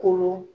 Kolon